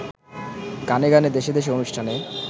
গানে গানে দেশে দেশে অনুষ্ঠানে